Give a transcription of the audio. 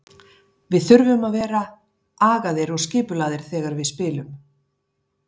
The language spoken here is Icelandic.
Við þurfum að vera agaðir og skipulagðir þegar við spilum.